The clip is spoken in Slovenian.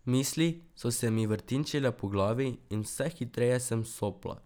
Misli so se mi vrtinčile po glavi in vse hitreje sem sopla.